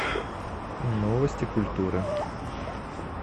новости культуры